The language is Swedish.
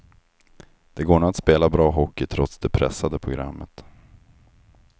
Det går nog att spela bra hockey trots det pressade programmet.